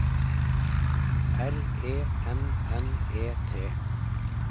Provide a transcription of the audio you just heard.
R E N N E T